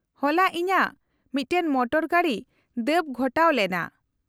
-ᱦᱚᱞᱟ ᱤᱧᱟᱹᱜ ᱢᱤᱫᱴᱟᱝ ᱢᱚᱴᱚᱨᱜᱟᱹᱰᱤ ᱫᱟᱹᱵᱽ ᱜᱷᱚᱴᱟᱣ ᱞᱮᱱᱟ ᱾